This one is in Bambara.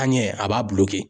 An ɲɛ, a b'a